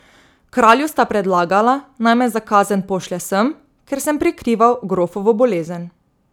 Kralju sta predlagala, naj me za kazen pošlje sem, ker sem prikrival grofovo bolezen.